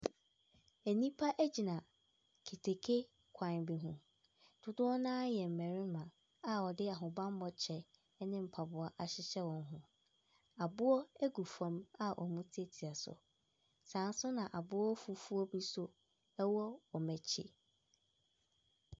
Nnipa gyina keteke kwan bi ho, dodoɔ no ara yɛ mmarima a wɔde ahobammɔ kyɛ ne mpaboa ahyehyɛ wɔn ho, aboɔ gu fam a wɔretiatia so, saa nso na aboɔ fufuobi so wɔ wɔn akyi.